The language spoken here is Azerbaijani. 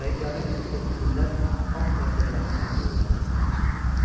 Rəngarəng ətirli güllər alt mərtəbələrin pəncərələrinə sarmaşırdı.